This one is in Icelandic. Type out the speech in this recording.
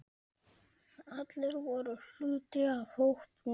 Allir voru hluti af hópnum.